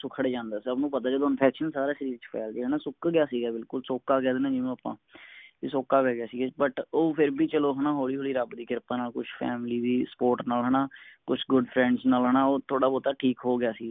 ਸੁੱਕੜ ਜਾਂਦਾ ਸਬ ਨੂੰ ਪਤਾ ਜਦੋ infection ਸਾਰਾ ਸ਼ਰੀਰ ਵਿਚ ਫੈਲਗਯਾ ਨਾ ਸੁੱਕ ਗਯਾ ਸੀ ਬਿਲਕੁਲ ਸੋਕਾ ਕਹਿ ਦੇਣੇ ਆ ਜਿਵੇ ਆਪਾ ਬੀ ਸੋਕਾ ਪੈਗਯਾ ਸੀਗਾ but ਉਹ ਵੀ ਫੇਰ ਵੀ ਚੱਲੋ ਆਪਣਾ ਹੋਲੀ ਹੋਲੀ ਰੱਬ ਦੀ ਕਿਰਪਾ ਨਾਲ ਕੁਛ family ਦੀ support ਨਾਲ ਹੈਨਾ ਕੁਛ good friends ਨਾਲ ਹੈਨਾ ਉਹ ਥੋੜਾ ਬਹੁਤਾ ਠੀਕ ਹੋਗਿਆ ਸੀ